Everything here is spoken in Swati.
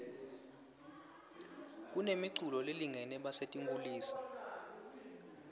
kunemi culo lelungele basetinkhulisa